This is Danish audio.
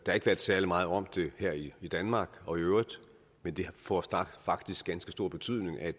særlig meget om det her i i danmark og i øvrigt men det får faktisk ganske stor betydning at